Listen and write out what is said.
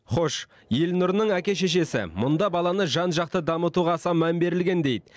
хош елнұрының әке шешесі мұнда баланы жан жақты дамытуға аса мән берілген дейді